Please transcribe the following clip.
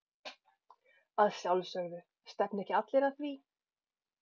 Að sjálfsögðu, stefna ekki allir að því?